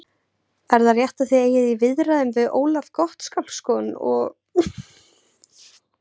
Er það rétt að þið eigið í viðræðum við Ólaf Gottskálksson og Guðmund Steinarsson?